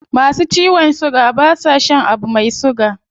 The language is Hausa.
Masu ciwon suga ba sa shan abu mai suga